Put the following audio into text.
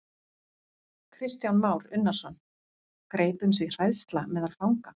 Kristján Már Unnarsson: Greip um sig hræðsla meðal fanga?